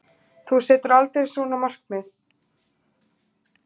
Þú setur aldrei svona markmið.